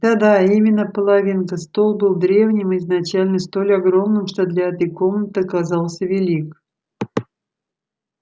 да-да именно половинка стол был древним и изначально столь огромным что для этой комнаты оказался велик